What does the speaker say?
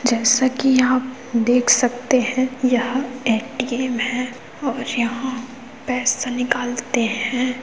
जैसा कि आप देख सकते है यह ए. टी. एम है और यहाँ पैसा निकलते हैं।